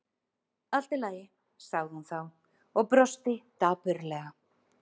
Allt í lagi- sagði hún þá og brosti dapurlega.